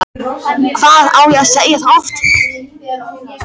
Hvað á ég að segja það oft?!